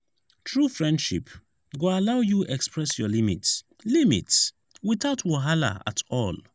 true friendship go allow you express your limits limits without wahala at all.